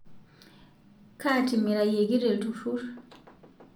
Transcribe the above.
Kaatimirayeki telturur